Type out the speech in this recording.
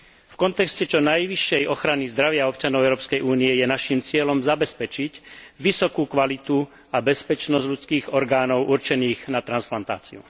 V kontexte čo najvyššej ochrany zdravia občanov Európskej únie je naším cieľom zabezpečiť vysokú kvalitu a bezpečnosť ľudských orgánov určených na transplantáciu.